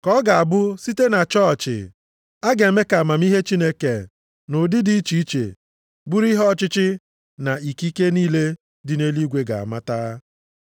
Ka ọ ga-abụ site na chọọchị, a ga-eme ka amamihe Chineke nʼụdị dị iche iche bụrụ ihe ọchịchị na ikike niile dị nʼeluigwe ga-amata.